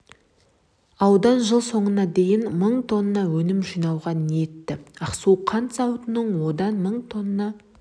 аудан жыл соңына дейін мың тонна өнім жинауға ниетті ақсу қант зауыты одан мың тонна